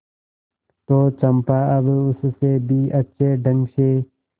तो चंपा अब उससे भी अच्छे ढंग से